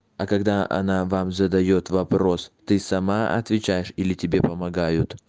а когда она вам задаёт вопрос ты сама отвечаешь или тебе помогают